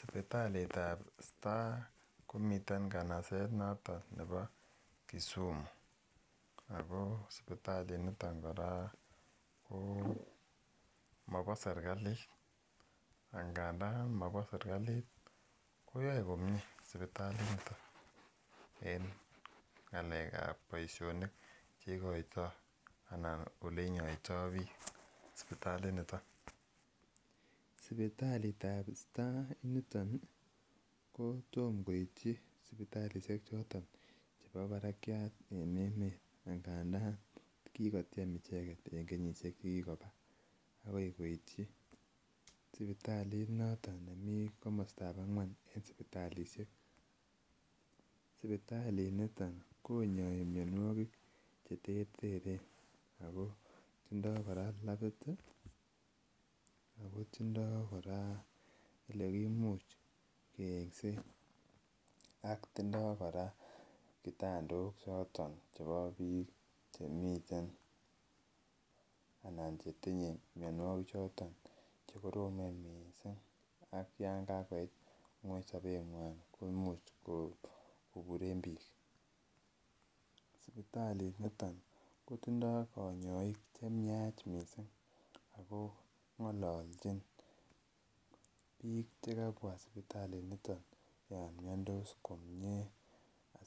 Sipitalitab star komiten nganaset noto nebo Kisumu ago sipitalit niton kora ko mobo sergalit angandan mobo sergalit koyoe komie sergalitinoto eng ngalekab boisionik che ikoito anan olenyoito biik sipitalinito. Sipitalitab star initon kotom koityi sipitalisiek choton chebo barakiat en emet ngandan kikotiem icheget en kenyisiek che kikoba agoi koityi sipitalit noto nemi komostab angwan en sipitalisiek. Sipitalit nito konyoi mianwogik cheterteren ago tindoi kora labit ago tindo kora olekimuch keengsen ak tindo kora kitandok choton chebo biik che miten anan che tinye mianwogik choton che koromen mising ak yon kagoit ngweny sobenywan komuch koburen biik. Sipitalinito kotindo konyoik chemiach mising ago ngololchin biik che kabwa sipitalinito yon miandos komie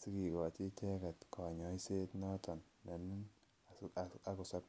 sigikochi icheget konyoiset nenoto nenin ak kosop.